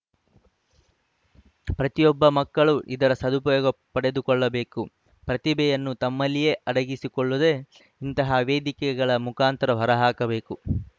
ಪ್ರತಿಯೊಬ್ಬ ಮಕ್ಕಳು ಇದರ ಸದುಪಯೋಗ ಪಡೆದುಕೊಳ್ಳಬೇಕು ಪ್ರತಿಭೆಯನ್ನು ತಮ್ಮಲ್ಲಿಯೇ ಅಡಗಿಸಿಕೊಳ್ಳದೇ ಇಂತಹ ವೇದಿಕೆಗಳ ಮುಖಾಂತರ ಹೊರಹಾಕಬೇಕು